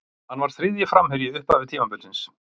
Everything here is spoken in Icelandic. Hann var þriðji framherji í upphafi tímabilsins.